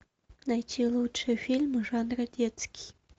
найти лучшие фильмы жанра детский